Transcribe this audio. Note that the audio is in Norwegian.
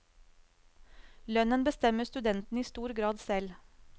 Lønnen bestemmer studentene i stor grad selv.